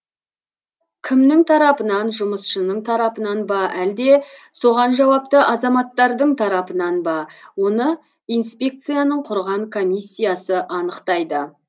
кімнің тарапынан жұмысшының тарапынан ба әлде соған жауапты азаматтардың тарапынан ба оны инспекцияның құрған комиссиясы анықтайды